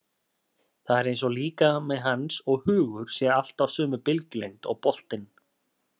Það er eins og líkami hans og hugur séu alltaf á sömu bylgjulengd og boltinn.